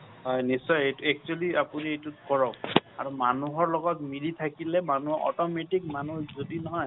হয় নিশ্চয় actually আপুনি এইটো কৰক আৰু মানুহৰ লগত মিলি থাকিলে মানুহ automatic মানুহ যদি নহয়